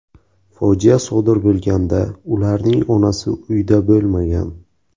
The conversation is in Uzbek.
Fojia sodir bo‘lganda ularning onasi uyda bo‘lmagan.